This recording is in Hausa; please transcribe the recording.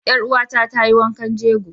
Ƴar uwa ta ta yi wankan jegon.